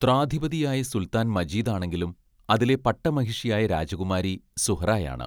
ത്രാധിപതിയായ സുൽത്താൻ മജീദാണെങ്കിലും, അതിലെ പട്ടമഹിഷിയായ രാജകുമാരി സുഹ്റായാണ്.